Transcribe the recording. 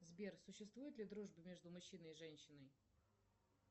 сбер существует ли дружба между мужчиной и женщиной